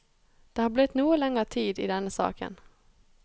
Det har blitt noe lenger tid i denne saken.